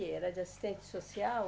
Era de assistente social?